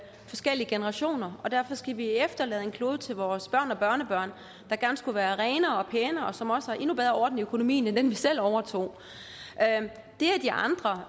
forskellige generationer og derfor skal vi efterlade en klode til vores børn og børnebørn der gerne skulle være renere og pænere og som har endnu bedre orden i økonomien end den klode vi selv overtog det at de andre